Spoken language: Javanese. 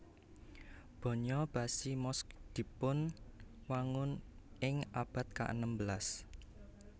Banya Bashi Mosque dipun wangun ing abad ka enem belas